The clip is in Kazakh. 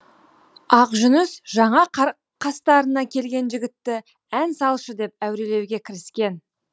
ақжүніс жаңа қастарына келген жігітті ән салшы деп әурелеуге кіріскен